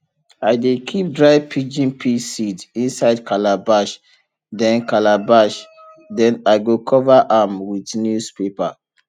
i dey keep dry pigeon pea seed inside calabash then calabash then i go cover am with news paper